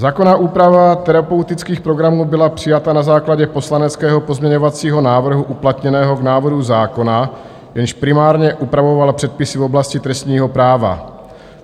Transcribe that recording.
Zákonná úprava terapeutických programů byla přijata na základě poslaneckého pozměňovacího návrhu uplatněného v návrhu zákona, jenž primárně upravoval předpisy v oblasti trestního práva.